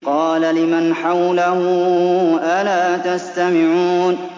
قَالَ لِمَنْ حَوْلَهُ أَلَا تَسْتَمِعُونَ